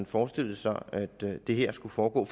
forestillet sig at det her skal foregå